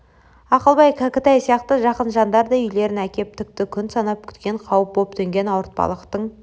ақылбай кәкітай сияқты жақын жандар да үйлерін әкеп тікті күн санап күткен қауіп боп төнген ауыртпалықтың